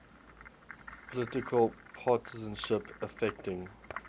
political partisanship affecting